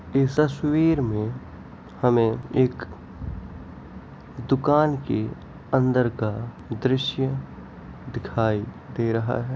इस तस्वीर में हमें एक दुकान की अंदर का दृश्य दिखाई दे रहा है ।